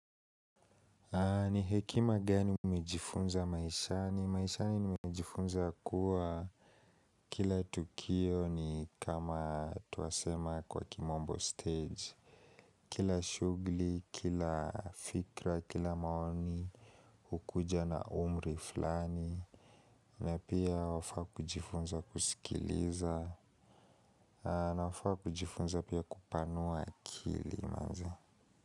Ni hekima gani umejifunza maishani? Maishani nimejifunza kuwa kila tukio ni kama twasema kwa kimombo stage. Kila shughli, kila fikra, kila maoni, hukuja na umri fulani. Na pia wafaa kujifunza kusikiliza. Nafaa kujifunza pia kupanua kili.